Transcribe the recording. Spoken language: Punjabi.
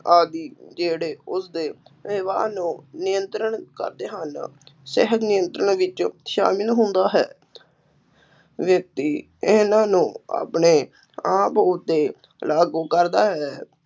ਆਦਿ ਜਿਹੜੇ ਉਸਦੇ ਵਿਵਹਾਰ ਨੂੰ ਨਿਯੰਤਰਣ ਕਰਦੇ ਹਨ, ਨਿਯੰਤਰਣ ਵਿੱਚ ਸ਼ਾਮਿਲ ਹੁੰਦਾ ਹੈ ਵਿਅਕਤੀ ਇਹਨਾ ਨੂੰ ਆਪਣੇ ਆਪ ਉੱਤੇ ਲਾਗੂ ਕਰਦਾ ਹੈ।